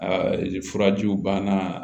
Aa furajiw banna